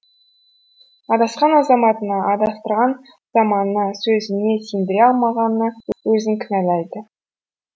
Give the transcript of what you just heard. адасқан азаматына адастырған заманына сөзіне сендіре алмағанына өзін кінәлайды